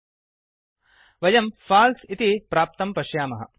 वयं फल्से पाल्स् इति प्राप्तं पश्यामः